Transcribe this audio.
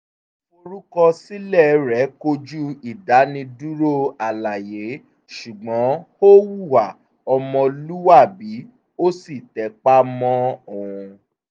ìforúkọsílẹ̀ rẹ̀ kojú ìdánidúró àlàyé ṣùgbọ́n ó hùwà ọmọlúwàbí ó sì tẹpa mọ́ ọn